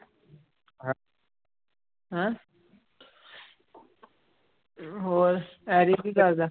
ਹੋਰ ਹੈਰੀ ਕੀ ਕਰਦਾ।